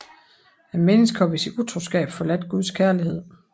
Mennesket har ved sin utroskab forladt Guds kærlighed